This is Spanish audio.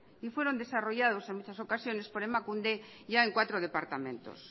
y fueron desarrollados en muchas ocasiones por emakunde ya en cuatro departamentos